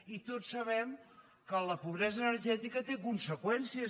i tots sabem que la pobresa energètica té conseqüències